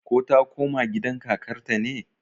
ko ta koma gidan kakarta ne?